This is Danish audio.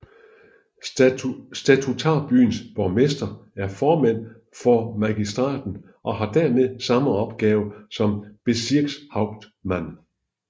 Statutarbyens borgmester er formand for for magistraten og har dermed samme opgaver som Bezirkshauptmann